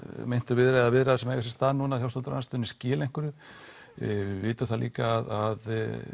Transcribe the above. viðræður viðræður sem eiga sér stað núna hjá stjórnarandstöðunni skili einhverju við vitum það líka að